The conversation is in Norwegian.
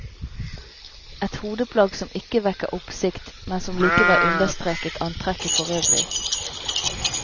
Et hodeplagg som ikke vekker oppsikt, men som likevel understreket antrekket forøvrig.